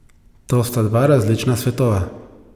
To sta dva različna svetova.